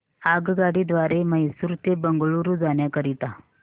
आगगाडी द्वारे मैसूर ते बंगळुरू जाण्या करीता